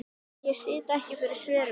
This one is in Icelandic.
Ég sit ekki fyrir svörum hjá þér.